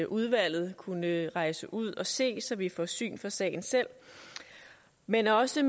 udvalget kunne rejse ud og se så vi får syn for sagen selv men også